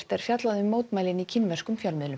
er fjallað um mótmælin í kínverskum fjölmiðlum